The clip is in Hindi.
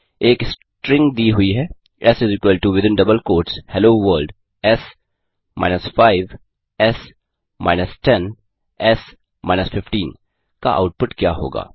एक स्ट्रिंग दी हुई है S within double quotes hello world s minus 5 s minus 10 sminus 15 का आउटपुट क्या होगा